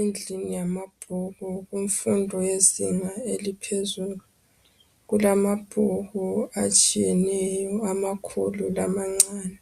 Indlu yamabhuku kumfundo yezinga eliphezulu kulabhuku atshiyeyeneyo amakhulu lamancane